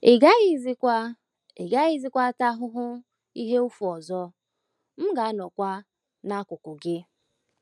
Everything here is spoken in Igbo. Ị gaghịzịkwa Ị gaghịzịkwa ata ahụhụ ihe ụfụ ọzọ ,m ga - anọkwa n’akụkụ gị. ”